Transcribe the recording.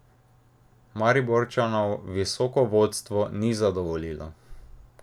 Mariborčanov visoko vodstvo ni zadovoljilo.